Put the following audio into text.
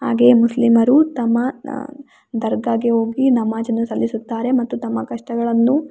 ಹಾಗೆ ಮುಸ್ಲಿಮರು ತಮ್ಮ ದರ್ಗಾಗೆ ಹೋಗಿ ನಮಾಜನ್ನು ಸಲ್ಲಿಸುತ್ತಾರೆ ಮತ್ತೆ ತಮ್ಮ ಕಷ್ಟಗಳನ್ನು.